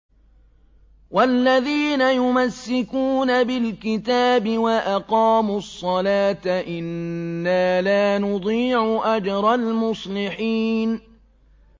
وَالَّذِينَ يُمَسِّكُونَ بِالْكِتَابِ وَأَقَامُوا الصَّلَاةَ إِنَّا لَا نُضِيعُ أَجْرَ الْمُصْلِحِينَ